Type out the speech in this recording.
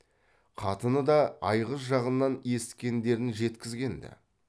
қатыны да айғыз жағынан есіткендерін жеткізген ді